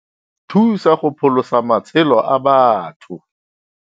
Thusa go pholosa matshelo a batho.